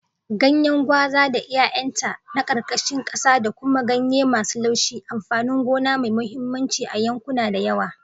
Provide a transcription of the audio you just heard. Ganyen gwaza da 'ya'yanta na karkashin kasa da kuma ganye masu laushi, amfanin gona mai mahimmanci a yankuna da yawa.